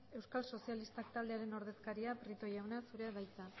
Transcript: euskal sozialistak taldearen ordezkariak prieto jauna zurea da hitza